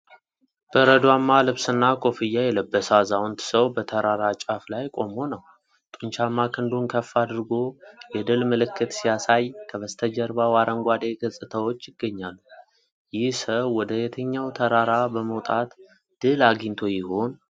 በረዷማ ልብስና ኮፍያ የለበሰ አዛውንት ሰው በተራራ ጫፍ ላይ ቆሞ ነው። ጡንቻማ ክንዱን ከፍ አድርጎ የድል ምልክት ሲያሳይ፣ ከበስተጀርባው አረንጓዴ ገጽታዎች ይገኛሉ። ይህ ሰው ወደ የትኛው ተራራ በመውጣት ድል አግኝቶ ይሆን?